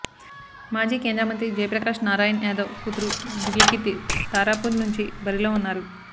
మాజీ కేంద్రమంత్రి జయప్రకాశ్ నారాయణ్ యాదవ్ కూతురు దివ్య కీర్తి తారాపూర్ నుంచి బరిలో ఉన్నారు